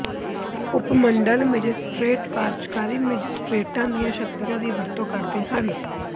ਉਪ ਮੰਡਲ ਮੈਜਿਸਟਰੇਟ ਕਾਰਜਕਾਰੀ ਮੈਜਿਸਟਰੇਟਾਂ ਦੀਆਂ ਸ਼ਕਤੀਆਂ ਦੀ ਵਰਤੋਂ ਕਰਦੇ ਹਨ